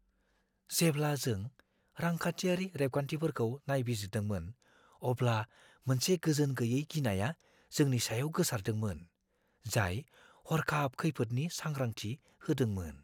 जेब्ला जों रांखान्थियारि रेबगान्थिफोरखौ नायबिजिरदोंमोन, अब्ला मोनसे गोजोनगैयै गिनाया जोंनि सायाव गोसारदोंमोन, जाय हर्खाब खैफोदनि सांग्रांथि होदोंमोन।